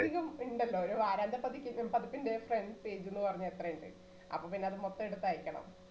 അതികം ഇണ്ടല്ലോ ഒരു വാരാന്ത്യപതിപ്പ് പതിപ്പിന്റെ front page ന്നു പറഞാ എത്രയുണ്ട് അപ്പോപ്പിന്നെ അത് മൊത്തം എടുത്തയക്കണം